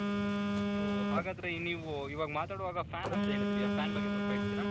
ಓ ಹಾಗಾದ್ರೆ ನೀವು ಇವಾಗ ಮಾತಾಡೋವಾಗ ಫ್ಯಾನ್ ಅಂತ ಹೇಳಿದ್ರಿ ಆ ಫ್ಯಾನ್ ಬಗ್ಗೆ ಸ್ವಲ್ಪ ಹೇಳ್ತೀರ ?